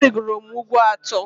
Arịgoro m ugwu atọ.